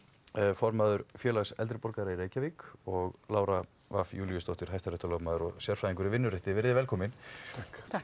formaður félags eldri borgara í Reykjavík og Lára fimm Júlíusdóttir hæstaréttarlögmaður og sérfræðingur í vinnurétti veriði velkomin takk